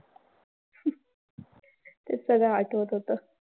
हे सगळं आठवत होतं.